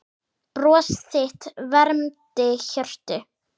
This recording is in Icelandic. Bros þitt vermdi hjörtu.